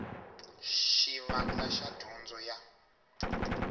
ya xivandla xa dyondzo ya